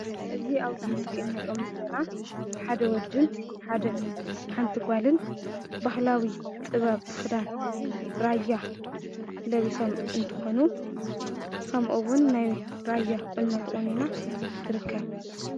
እዚ ኣብዚ ምስሊ ንሪኦም ዘለና ሓደ ወድን ሓንቲ ጓልን ባህላዊ ጥበብ ክዳን ራያ ለቢሶም እንትኾኑ ከምኡውን ናይ ራያ ቁኖ ተቖኒና ትርከብ፡፡